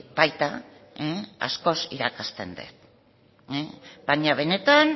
baita askoz irakasten dut baina benetan